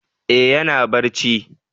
Eh ya na barci